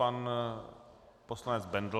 Pan poslanec Bendl.